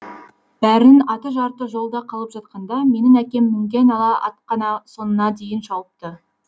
бәрінің аты жарты жолда қалып жатқанда менің әкем мінген ала ат қана соңына дейін шауыпты